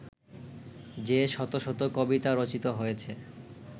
যে-শত শত কবিতা রচিত হয়েছে